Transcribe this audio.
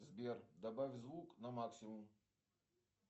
сбер добавь звук на максимум